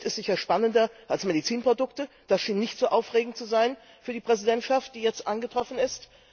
Das Geld ist sicher spannender als Medizinprodukte, die schienen nicht so aufregend zu sein für die Präsidentschaft, die jetzt eingetroffen ist.